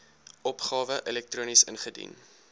opgawe elektronies ingedien